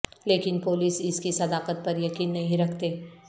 لیکن پولیس اس کی صداقت پر یقین نہیں رکھتے